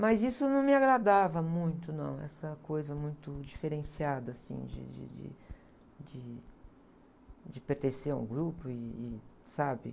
Mas isso não me agradava muito, não, essa coisa muito diferenciada, assim, de, de, de, de, de pertencer a um grupo e, e, sabe?